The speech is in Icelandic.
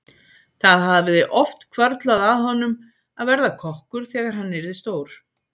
Það hafði oft hvarflað að honum að verða kokkur þegar hann yrði stór.